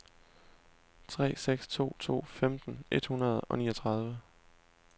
tre seks to to femten et hundrede og niogtredive